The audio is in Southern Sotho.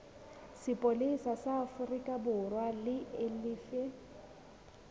sepolesa sa aforikaborwa e lefe